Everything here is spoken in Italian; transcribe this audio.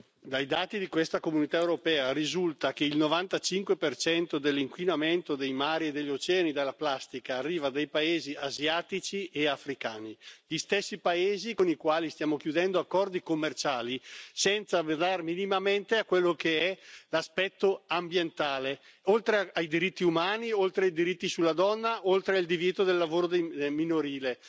Dai dati della Comunità europea risulta che il 95 dell'inquinamento dei mari e degli oceani dalla plastica arriva dai Paesi asiatici e africani, gli stessi Paesi con i quali stiamo concludendo accordi commerciali, senza pensare minimamente a quello che è l'aspetto ambientale, oltre ai diritti umani, oltre ai diritti della donna, oltre al divieto del lavoro minorile.